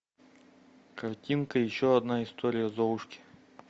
картинка еще одна история золушки